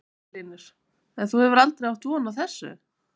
Magnús Hlynur: En þú hefur aldrei átt von á þessu?